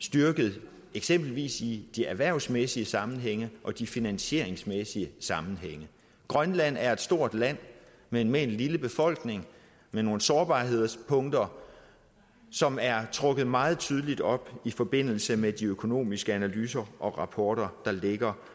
styrket eksempelvis i de erhvervsmæssige sammenhænge og de finansieringsmæssige sammenhænge grønland er et stort land men med en lille befolkning med nogle sårbarhedspunkter som er trukket meget tydeligt op i forbindelse med de økonomiske analyser og rapporter der ligger